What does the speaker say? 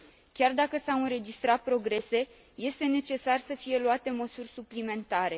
Chiar dacă s au înregistrat progrese este necesar să fie luate măsuri suplimentare.